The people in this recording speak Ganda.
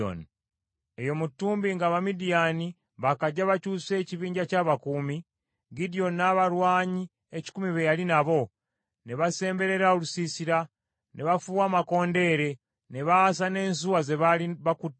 Eyo mu ttumbi nga Abamidiyaani baakajja bakyuse ekibinja ky’abakuumi, Gidyoni n’abalwanyi ekikumi be yali nabo, ne basemberera olusiisira, ne bafuuwa amakondeere, ne baasa n’ensuwa ze baali bakutte.